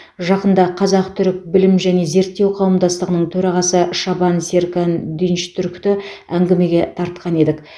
жақында қазақ түрік білім және зерттеу қауымдастығының төрағасы шабан серкан динчтүркті әңгімеге тартқан едік